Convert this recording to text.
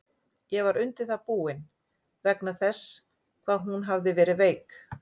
Ég var undir það búinn, vegna þess hvað hún hafði verið veik.